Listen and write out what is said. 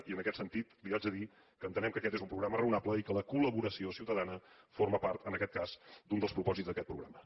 i en aquest sentit li haig de dir que entenem que aquest és un programa raonable i que la col·laboració ciutadana forma part en aquest cas d’un dels propòsits d’aquest programa